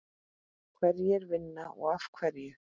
Hverjir vinna og af hverju?